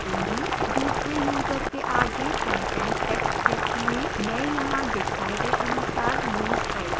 दूसरे यूजर के आगे content text क्षेत्र में मैं यहाँ दिखाए गए अनुसार note type करूँगी